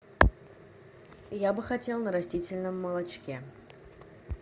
я бы хотел на растительном молочке